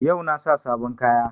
Yau na sa sabon kaya